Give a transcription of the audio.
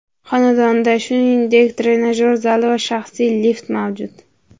Xonadonda, shuningdek trenajyor zali va shaxsiy lift mavjud.